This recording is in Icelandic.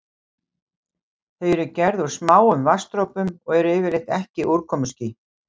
Þau eru gerð úr smáum vatnsdropum og eru yfirleitt ekki úrkomuský.